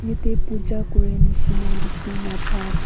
Yatheh pooja kurey neshina dekhina paa ase.